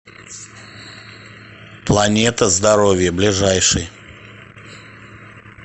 планета здоровья ближайший